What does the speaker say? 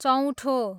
चौँठो